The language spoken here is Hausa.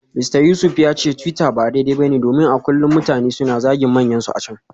Mista Yusuf ya ce twitter ba daidai ba ne domin a kullum mutane suna zagin manyansu a can.